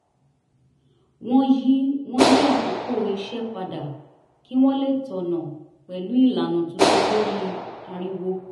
wọ́n yí wọ́n yí àkókò iṣẹ́ padà kí wọ́n lè tọ̀nà pẹ̀lú ìlànà tuntun lórí ariwo